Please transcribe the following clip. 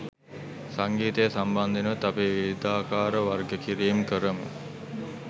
සංගීතය සම්බන්ධයෙනුත් අපි විවිධාකාර වර්ග කිරීම් කරමු